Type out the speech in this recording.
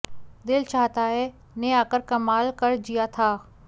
दिल चाहता है ने आकर कमाल कर जिया था